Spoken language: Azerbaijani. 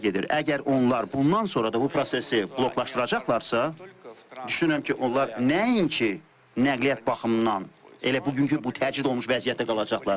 Əgər onlar bundan sonra da bu prosesi bloklaşdıracaqlarsa, düşünürəm ki, onlar nəinki nəqliyyat baxımından elə bugünkü bu təcrid olunmuş vəziyyətdə qalacaqlar.